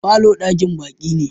falo dakin baki ne.